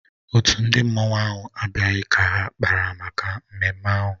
Otu ndị mmanụ ahụ abịaghị ka ha kpara maka mmemme ahụ